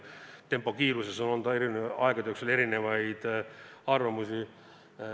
Tempo kiiruse kohta on olnud aegade jooksul erinevaid arvamusi.